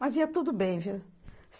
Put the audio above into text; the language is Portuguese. Mas ia tudo bem, viu?